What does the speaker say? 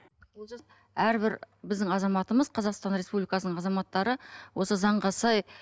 олжас әрбір біздің азаматымыз қазақтан республикасының азаматтары осы заңға сай